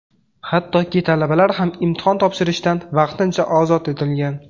Hattoki talabalar ham imtihon topshirishdan vaqtincha ozod etilgan.